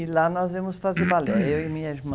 E lá nós íamos fazer balé, eu e minha irmã.